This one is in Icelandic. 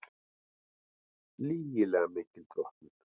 Lygilega mikil drottnun